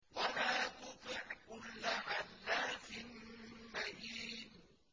وَلَا تُطِعْ كُلَّ حَلَّافٍ مَّهِينٍ